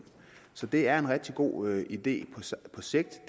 så det er en rigtig god idé på sigt at